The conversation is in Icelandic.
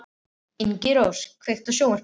Ingirós, kveiktu á sjónvarpinu.